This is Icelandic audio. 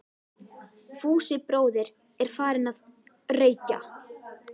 Fúsi bróðir er farinn að- reykja!